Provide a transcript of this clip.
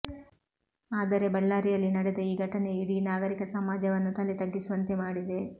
ಆದರೆ ಬಳ್ಳಾರಿಯಲ್ಲಿ ನಡೆದ ಈ ಘಟನೆಯು ಇಡೀ ನಾಗರಿಕ ಸಮಾಜವನ್ನು ತಲೆತಗ್ಗಿಸುವಂತೆ ಮಾಡಿದೆ